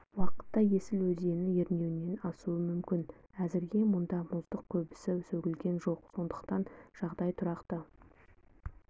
уақытта есіл өзені ернеуінен асуы мүмкін әзірге мұнда мұздың көбесі сөгілген жоқ сондықтан жағдай тұрақты